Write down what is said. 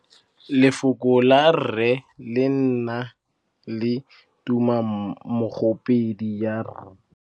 Lefoko la rre, le na le tumammogôpedi ya, r.